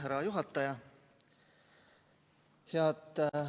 Härra juhataja!